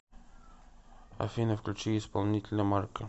афина включи исполнителя марка